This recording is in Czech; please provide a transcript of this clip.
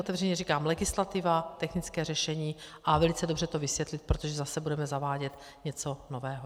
Otevřeně říkám - legislativa, technické řešení a velice dobře to vysvětlit, protože zase budeme zavádět něco nového.